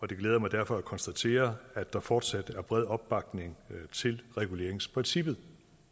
det glæder mig derfor at konstatere at der fortsat er bred opbakning til reguleringsprincippet